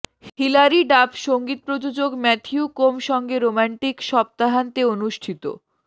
Hillary Duff সঙ্গীত প্রযোজক Matthew Koma সঙ্গে রোমান্টিক সপ্তাহান্তে অনুষ্ঠিত